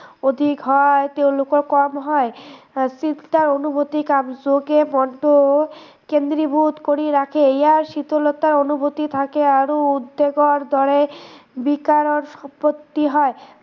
অধিক হয় তেওঁলোকৰ কম হয়, অনুভূতি কম যোগে মনটো কেন্দ্ৰীভূত কৰি ৰাখে, ইয়াৰ শীতলতাৰ অনুভূতি থাকে আৰু উদ্দেগৰ দৰে বিকাৰৰ উৎপত্তি হয়